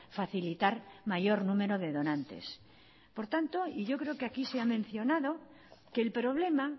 facilitar mayor número de donantes por tanto y yo creo que así se ha mencionado que el problema